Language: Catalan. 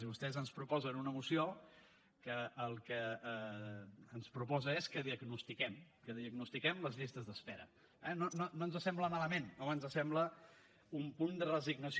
i vostès ens proposen una moció que el que ens proposa és que diagnostiquem que diagnostiquem les llistes d’espera eh no no ens sembla malament no ens sembla un punt de resignació